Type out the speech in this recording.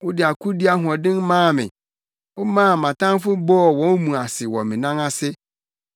Wode akodi ahoɔden maa me; womaa mʼatamfo bɔɔ wɔn mu ase wɔ me nan ase.